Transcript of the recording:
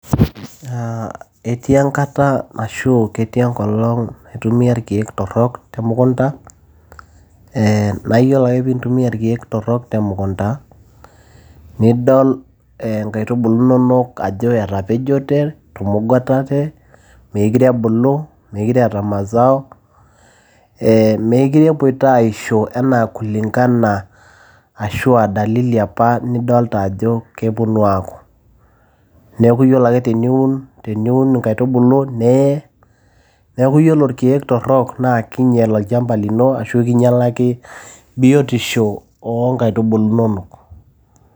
Etii enkata ashu, ketii enkolong naitumia ilkeek torok temukunta. Naa ore ake pee intumia ilkeek torok temukunta, nidol inkaitubulu inonok ajo etapejote, etumugutate meekure ebulu meekure eeta mazao meekure epoito aishonanaa kuling'ana ashua dalili apa ajo kepuonu aaku. Neaku iyiolo ake teniun inkaitubulu nee. Neaku ore ilkeek torok, naa keinyal olchamba lino ashu kinyelaki biotisho oo inkaitubulu inonok.